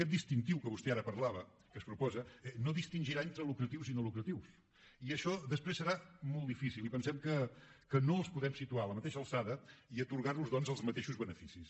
aquest distintiu de què vostè ara parlava que es proposa no distingirà entre lucratius i no lucratius i això després serà molt difícil i pensem que no els podem situar a la mateixa alçada i atorgar los doncs els mateixos beneficis